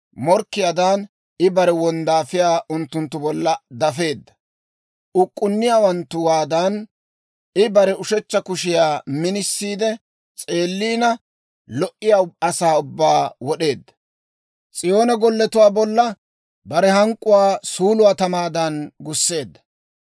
Morkkiyaadan I bare wonddaafiyaa unttunttu bolla dafeedda. Uk'k'unniyaawanttuwaadan I bare ushechcha kushiyaa minisiide, s'eellina lo"iyaa asaa ubbaa wod'eedda. S'iyoone golletuwaa bolla bare hank'k'uwaa suuluwaa tamaadan gusseedda.